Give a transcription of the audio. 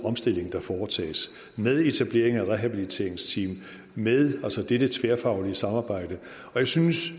omstilling der foretages med etablering af rehabiliteringsteam med dette tværfaglige samarbejde og jeg synes